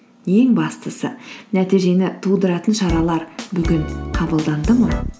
ең бастысы нәтижені тудыратын шаралар бүгін қабылданды ма